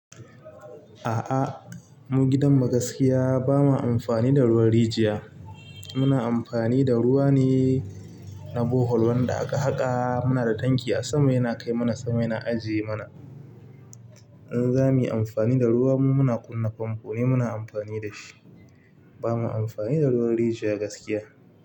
A'a, mu gidan ma gaskiya ba ma amfani da ruwan rijiya. Muna amfani da ruwa ne na bohol wanda aka haƙa muna da tanki a sama yana kai mana sama yana ajiye mana. In za mu yi amfani da ruwa mu muna kunna famfo ne muna amfani da shi. Ba ma amfani da ruwan rijiya gaskiya.